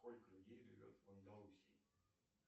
сколько людей живет в андалусии